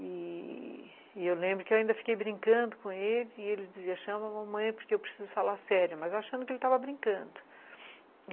E e eu lembro que eu ainda fiquei brincando com ele e ele dizia, chama a mamãe porque eu preciso falar sério, mas eu achando que ele estava brincando.